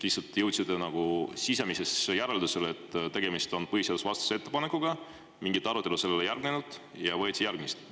Lihtsalt jõudsite sisemisele järeldusele, et tegemist on põhiseadusvastase ettepanekuga, mingit arutelu sellele ei järgnenud ja võtsite ette järgmise?